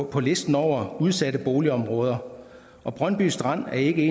på listen over udsatte boligområder og brøndby strand er ikke